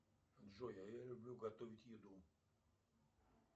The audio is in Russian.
джой а я люблю готовить еду